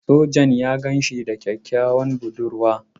Sojan ya gan shi da kyakkyawar budurwa.